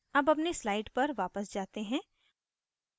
अब अगली slide पर जाते हैं